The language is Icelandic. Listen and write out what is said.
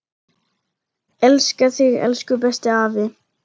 Elska þig, elsku besti afi.